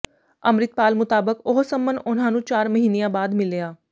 ਅੰਮ੍ਰਿਤਪਾਲ ਮੁਤਾਬਕ ਉਹ ਸੰਮਨ ਉਨ੍ਹਾਂ ਨੂੰ ਚਾਰ ਮਹੀਨਿਆਂ ਬਾਅਦ ਮਿਲਿਆ